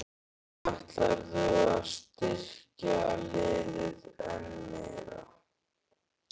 Svo ætlarðu að styrkja liðið enn meira?